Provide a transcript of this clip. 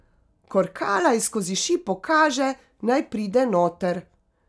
Korkala ji skozi šipo kaže, naj pride noter.